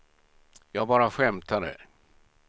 jag bara skämtade